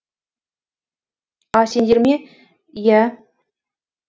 а сендер ме иә